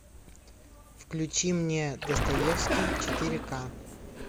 включи мне достоевский четыре к